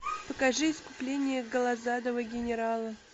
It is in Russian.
покажи искупление голозадого генерала